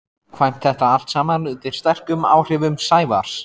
kvæmt þetta allt saman undir sterkum áhrifum Sævars.